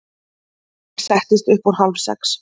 Sólin settist upp úr hálfsex.